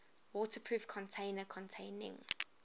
waterproof container containing